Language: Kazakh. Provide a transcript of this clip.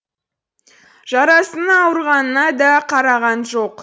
жарасының ауырғанына да қараған жоқ